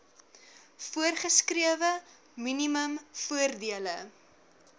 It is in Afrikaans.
voorgeskrewe minimum voordele